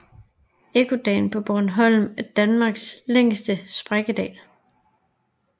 Ekkodalen på Bornholm er Danmarks længste sprækkedal